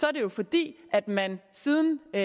er det jo fordi man siden det